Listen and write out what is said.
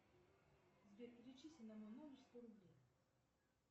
сбер перечисли на мой номер сто рублей